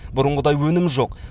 бұрынғыдай өнім жоқ